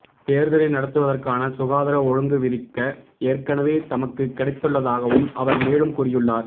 தேர்தலை நடத்துவதற்கான சுகாதார ஒழுங்குவிதிக்க ஏற்கனவே தமக்கு கிடைத்துள்ளதாகவும் அவர் மேலும் கூறியுள்ளார்